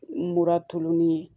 Mura tulonni ye